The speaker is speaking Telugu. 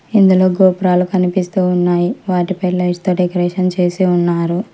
ఇందులో గోపురాలు కనిపిస్తూ ఉన్నాయి వాటిపై లైట్స్ తో డెకరేషన్ చేసి ఉన్నారు